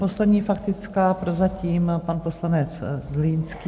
Poslední faktická prozatím, pan poslanec Zlínský.